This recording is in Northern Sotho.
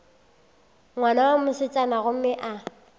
ngwana wa mosetsana gomme a